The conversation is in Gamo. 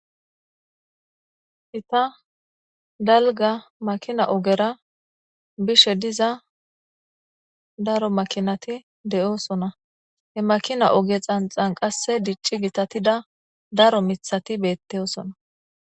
Gita dalga makina ogera bishe diza daro makinati de7oosona. ha makina ogezan qasse dicci gitatida daro mithati beettoosona.